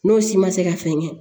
N'o si ma se ka fɛn kɛ